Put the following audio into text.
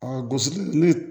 gosili ni